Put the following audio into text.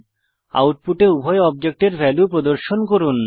আউটপুটে উভয় অবজেক্টের ভ্যালু প্রদর্শন করুন